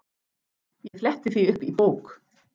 Ég fletti því upp í bók.